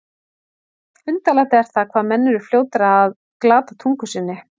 Undarlegt er það, hvað menn eru fljótir að glata tungu sinni.